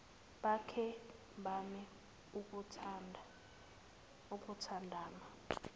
bake bame ukuthandana